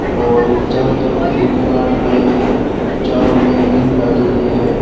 और ये चारो तरफ फेरी लगान ताई चारों मेर ग्रिल लागेड़ी है।